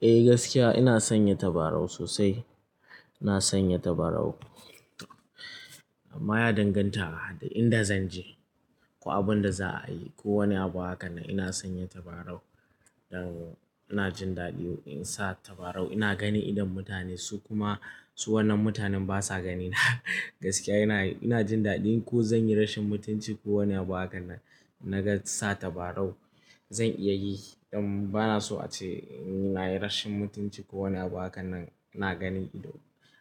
Eh gaskiya ina san ya tabarau sosai. Ina san ya tabarau. Anma ya danganta da inda zan je ko abin da za a yi. Ko wane abu haka na ina san ya tabarau. Dan ina jin daɗi in sa tabarau. Ina ganin idon mutane su kuma su wannan mutanen basa ganina. Gaskiya ina ina jin daɗi ko zan yi rashin mutunci ko wane abu hakan nan na ga sa tabarau zan iya yi. Dan bana so a ce ina yi rashin mutunci ko wane abu. Haka nan ina ganin ido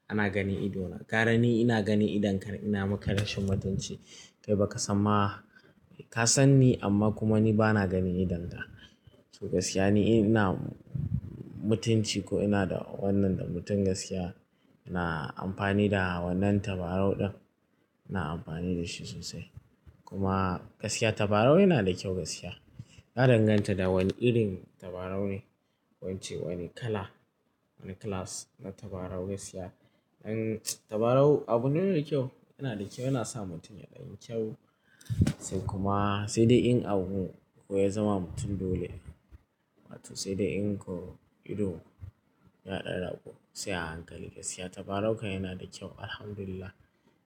ana ganin idona. Kare ni ina ganin idon ka ina muka rashin mutunci. Kai baka sani ba ka san ni amma kuma ni bana ganin idonta. To gaskiya ni ina mutunci ko ina da wannan da mutum gaskiya ina amfani da wannan tabarau ɗin. Ina amfani da shi sosai. Kuma gaskiya tabarau yana da kyau gaskiya. Ya danganta da wani irin tabarau ne wance wani kala wani class na tabarau gaskiya. Dan tabarau abun nuna kyau yana da kyau yana sa mutum yaɗa yin kyau sai kuma sai dai in abu ku ya zama mutum dole. Wato sai dai in ko ido ya ɗan rako sai a hankali. Gaskiya tabarau ka yana da kyau Alhamdulillah.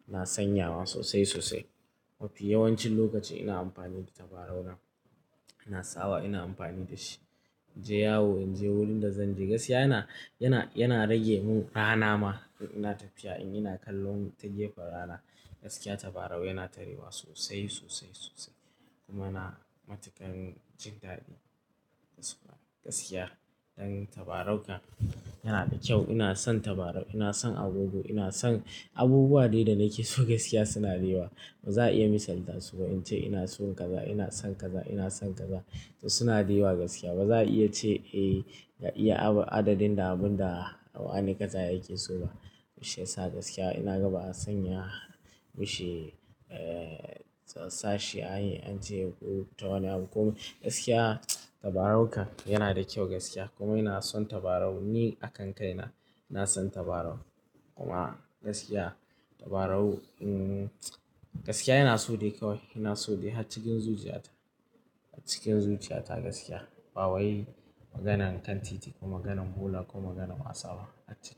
Ina sanyawa sosai sosai. Mafi yawancin lokaci ina amfani da tabarau na. Ina sawa ina amfani da shi. In je yawo in je wurin da zan je gaskiya yana yana yana rage mun rana ma. In ina tafiya in ina kallon ta gefen rana gaskiya tabarau yana tarewa sosai sosai sosai. Kuma na matuƙan jin daɗi. Gaskiya dan tabarau ka yana da kyau. Ina son tabarau ina son agogo ina son abubuwa dai da nake so gaskiya suna yawa. Ba za a iya misalta su ba in ce ina so kaza ina son kaza ina son kaza to suna dayawa gaskiya. Ba za a iya ce eh ya iya adadin da abun da wane kaza yake so ba. Shiya sa gaskiya ina gaba a sanya mushi eh sashe anyi an ce ku ta wani abu kuma gaskiya tabarau ka yana da kyau gaskiya. Kuma ina son tabarau ni a kan kai na ina son tabarau. Kuma gaskiya tabarau em gaskiya yana so dai kawai yana so dai har cikin zuciyata har cikin zuciyata gaskiya. Ba wai maganan kan titi ko maganan mula ko maganan wasaba a ciki.